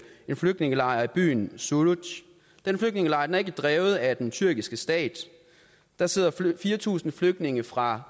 en flygtningelejr i byen suruc den flygtningelejr er ikke drevet af den tyrkiske stat der sidder fire tusind flygtninge fra